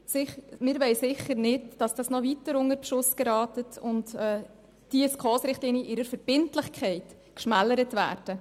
Wir wollen sicher nicht, dass diese noch weiter unter Beschuss geraten und die SKOS-Richtlinien in ihrer Verbindlichkeit geschmälert werden.